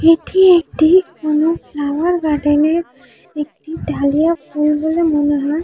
এটি একটি কোনো ফ্লাওয়ার গার্ডেন -এর > একটি ডালিয়া ফুল বলে মনে হয়।